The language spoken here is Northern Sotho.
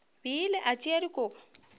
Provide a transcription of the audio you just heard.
bile a tšea dikobo o